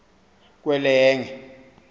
kwelenge